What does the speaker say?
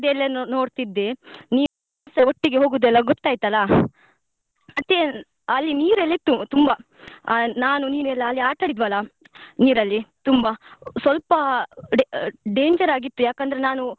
ಅದೆಲ್ಲ ನೋಡ್ತಿದ್ದೆ ನೀವ್ಸ ಒಟ್ಟಿಗೆ ಹೋಗುದು ಎಲ್ಲ ಗೊತ್ತಾಯ್ತ್ ಅಲ್ಲ ಮತ್ತೆ ಅಲ್ಲಿ ನೀರೆಲ್ಲ ಇತ್ತು ತುಂಬಾ ಆ ನಾನು ನೀನೆಲ್ಲ ಅಲ್ಲಿ ಆಟ ಆಡಿದ್ವಲ್ಲ ನೀರಲ್ಲಿ ತುಂಬಾ ಸ್ವಲ್ಪ da~ danger ಯಾಕಂದ್ರೆ ನಾನು.